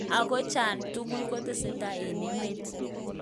Ago cha tugul kotesetai en emet?